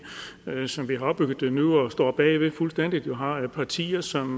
sådan som vi har opbygget det nu og står bag ved fuldstændig så vi har partier som